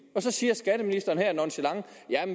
så siger skatteministeren her nonchalant